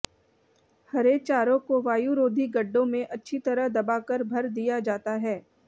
हरे चारों को वायुरोधी गड्डों में अच्छी तरह दबाकर भर दिया जाता है